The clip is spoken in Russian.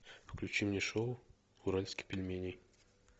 включи мне шоу уральских пельменей